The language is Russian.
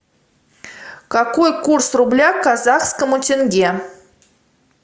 какой курс рубля к казахскому тенге